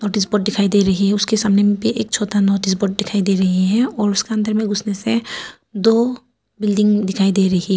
Notice board दिखाई दे रही है। उसके सामने में एक छोटा नोटिस बोर्ड दिखाई दे रही है और उसका अंदर में उसमें से दो बिल्डिंग दिखाई दे रही है।